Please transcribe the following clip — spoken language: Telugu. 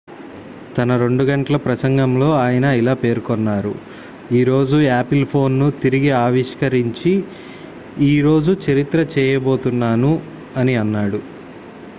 """తన 2 గంటల ప్రసంగంలో ఆయన ఇలా పేర్కొన్నారు" ఈ రోజు యాపిల్ ఫోన్ ను తిరిగి ఆవిష్కరించి ఈ రోజు చరిత్ర చేయబోతున్నాను" అని అన్నాడు.